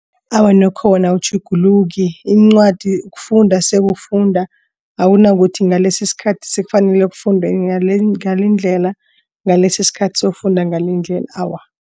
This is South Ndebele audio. Awa, nokho wona awutjhuguluki incwadi kufunda sekufunda akunakuthi ngalesi isikhathi sekufanele sekufundwe ngalindlela. Ngalesi isikhathi sokufunda ngalendlela awa.